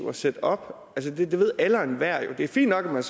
at sætte op det ved alle og enhver jo det er fint nok at man